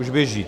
Už běží?